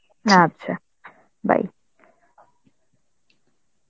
আচ্ছা bye.